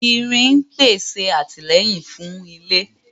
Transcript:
Irin pèsè àtìlẹ́yìn fún ilé